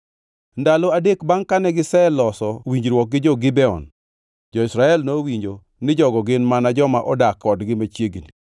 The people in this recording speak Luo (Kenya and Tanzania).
Ndalo adek bangʼ kane giseloso winjruok gi jo-Gibeon, jo-Israel nowinjo ni jogo gin mana joma odak kodgi machiegni.